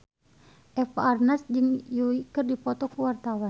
Eva Arnaz jeung Yui keur dipoto ku wartawan